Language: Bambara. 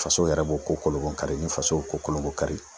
Faso yɛrɛ b'o ko kolonbonkari ni faso y'o ko kolonbonkari